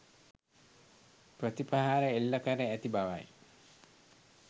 ප්‍රති ප්‍රහාර එල්ල කර ඇති බවයි